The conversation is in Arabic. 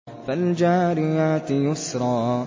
فَالْجَارِيَاتِ يُسْرًا